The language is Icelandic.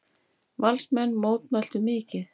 Valsmenn mótmæltu mikið.